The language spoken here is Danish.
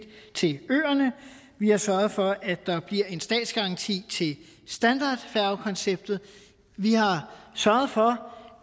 til øerne vi har sørget for at der bliver en statsgaranti til standardfærgekonceptet vi har sørget for